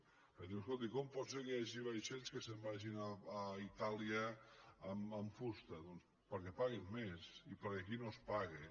perquè em diu escolti com pot ser que hi hagi vaixells que se’n vagin a itàlia amb fusta doncs perquè paguen més i perquè aquí no es paga